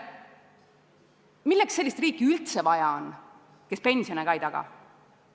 Milleks üldse on vaja sellist riiki, kes pensione ka ei taga?